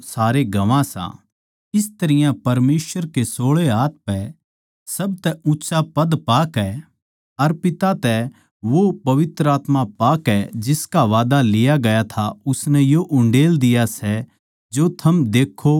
इस तरियां परमेसवर के सोळे हाथ पै सबतै ऊँच्चा ओद्दा पाकै अर पिता तै वो पवित्र आत्मा पाकै जिसका वादा लिया गया था उसनै यो उण्डेल दिया सै जो थम देक्खो अर सुणो सो